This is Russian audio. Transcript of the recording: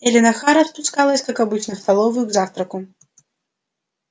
эллин охара спускалась как обычно в столовую к завтраку